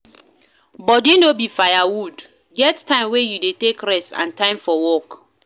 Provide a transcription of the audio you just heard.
Body no be fire wood, get time wey you dey take rest and time for work